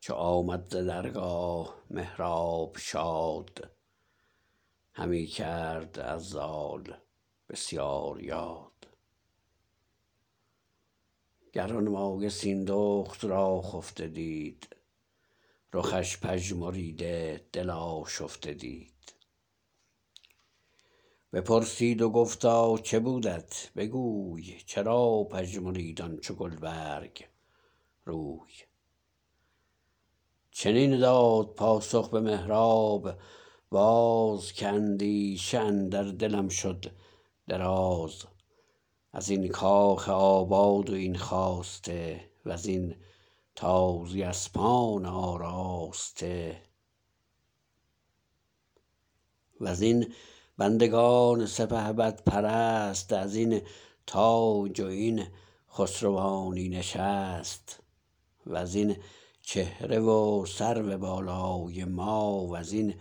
چو آمد ز درگاه مهراب شاد همی کرد از زال بسیار یاد گرانمایه سیندخت را خفته دید رخش پژمریده دل آشفته دید بپرسید و گفتا چه بودت بگوی چرا پژمرید آن چو گلبرگ روی چنین داد پاسخ به مهراب باز که اندیشه اندر دلم شد دراز ازین کاخ آباد و این خواسته وزین تازی اسپان آراسته وزین بندگان سپهبدپرست ازین تاج و این خسروانی نشست وزین چهره و سرو بالای ما وزین